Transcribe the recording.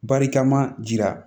Barikama jira